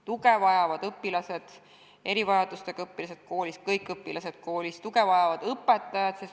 Tuge vajavad õpilased, sh erivajadustega õpilased, tuge vajavad õpetajad.